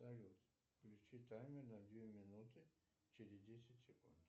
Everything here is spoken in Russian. салют включи таймер на две минуты через десять секунд